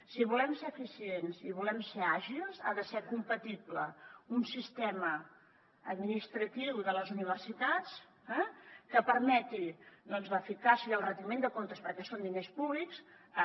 si volem ser eficients i volem ser àgils ha de ser compatible un sistema administratiu de les universitats eh que permeti l’eficàcia i el retiment de comptes perquè són diners públics